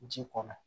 Ji kɔnɔ